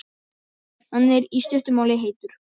Hann er, í stuttu máli, heitur.